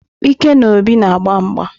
Ike na Obi na-agba mgba.